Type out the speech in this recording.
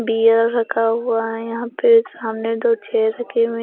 beer रखा हुआ है यहां पे सामने दो छेर रखी हुए--